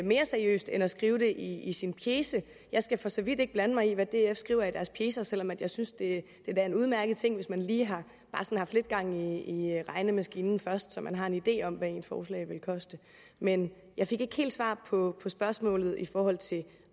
mere seriøst end at skrive det i sin pjece jeg skal for så vidt ikke blande mig i hvad df skriver i deres pjecer selv om jeg synes det er en udmærket ting hvis man lige har haft lidt gang i i regnemaskinen først så man har en idé om hvad ens forslag vil koste men jeg fik ikke helt svar på spørgsmålet i forhold til